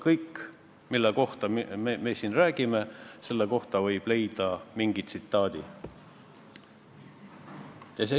Kõige kohta, millest me siin räägime, võib leida mingi tsitaadi.